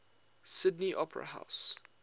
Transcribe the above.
sydney opera house